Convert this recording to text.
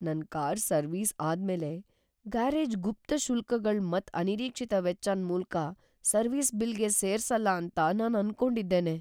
ನನ್ car service ಅದ್ ಮೇಲೆ ಗ್ಯಾರೇಜ್ ಗುಪ್ತ ಶುಲ್ಕಗಳ್ ಮತ್ ಅನಿರೀಕ್ಷಿತ ವೆಚ್ಚನ್ ಮೂಲ ಸರ್ವಿಸ್ ಬಿಲ್ಗೆ ಸೇರ್ಸಲ್ಲ ಅಂತ ನಾನ್ ಅನ್ಕೊಂಡಿದ್ದೇನೆ.